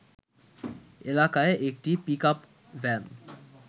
এলাকায় একটি pickup van